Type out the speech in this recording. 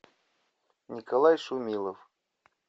николай шумилов